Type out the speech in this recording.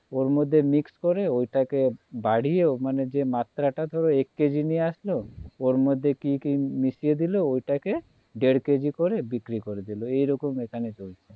ওর মধ্যে mix করে ঐটাকে বাড়িয়ে যে মাত্রাটা ধরো এক কেজি নিয়ে আসলো ওর মধ্যে কি কি মিশিয়ে দিলো ওটাকে দেড় কেজি করে বিক্রি করে দিলো এইরকম এখানে চলছে